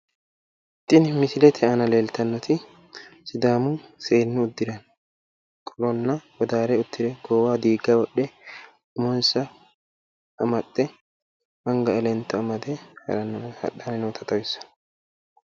Tini misilete aana leeltannoti sidaamu seennu uddira qolonna wodaare diigga goowaho wodhe umonsa amaxxe anga elento amade harannota xawissanno.